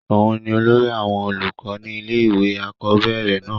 òun ni olórí àwọn olùkọ́ ni ilé ìwé àkọ́bẹ̀rẹ̀ náà